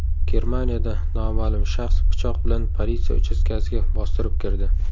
Germaniyada noma’lum shaxs pichoq bilan politsiya uchastkasiga bostirib kirdi.